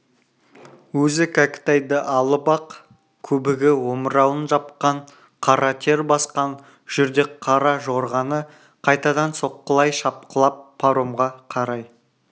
өзі кәкітайды алып ақ көбігі омырауын жапқан қара тер басқан жүрдек қара жорғаны қайтадан соққылай шапқылап паромға қарай